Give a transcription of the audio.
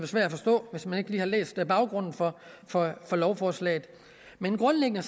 svært at forstå hvis man ikke lige har læst om baggrunden for for lovforslaget men grundlæggende